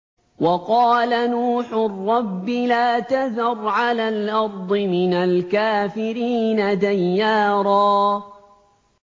وَقَالَ نُوحٌ رَّبِّ لَا تَذَرْ عَلَى الْأَرْضِ مِنَ الْكَافِرِينَ دَيَّارًا